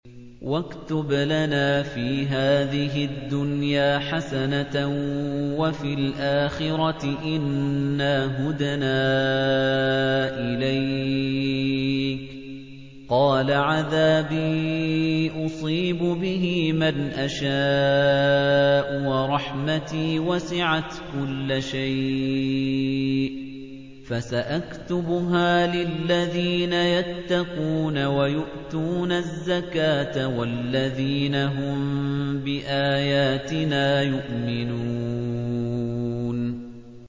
۞ وَاكْتُبْ لَنَا فِي هَٰذِهِ الدُّنْيَا حَسَنَةً وَفِي الْآخِرَةِ إِنَّا هُدْنَا إِلَيْكَ ۚ قَالَ عَذَابِي أُصِيبُ بِهِ مَنْ أَشَاءُ ۖ وَرَحْمَتِي وَسِعَتْ كُلَّ شَيْءٍ ۚ فَسَأَكْتُبُهَا لِلَّذِينَ يَتَّقُونَ وَيُؤْتُونَ الزَّكَاةَ وَالَّذِينَ هُم بِآيَاتِنَا يُؤْمِنُونَ